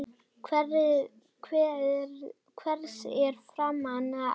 Hvers er framar að óska?